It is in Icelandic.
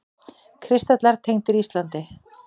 Kristallar tengdir Íslandi